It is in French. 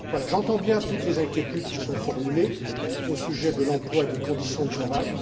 J'entends bien toutes les inquiétudes qui sont formulées au sujet de l'emploi et des conditions de travail.